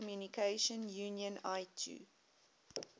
telecommunication union itu